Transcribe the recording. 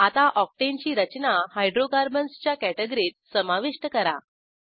आता ऑक्टेन ची रचना हायड्रोकार्बन्स च्या कॅटॅगरीत समाविष्ट करा